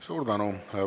Suur tänu!